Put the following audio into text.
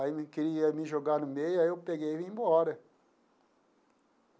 Aí me queria me jogar no meio, aí eu peguei e vim embora.